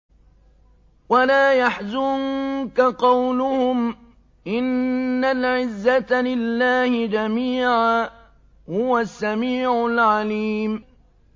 وَلَا يَحْزُنكَ قَوْلُهُمْ ۘ إِنَّ الْعِزَّةَ لِلَّهِ جَمِيعًا ۚ هُوَ السَّمِيعُ الْعَلِيمُ